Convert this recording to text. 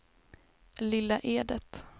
Lilla Edet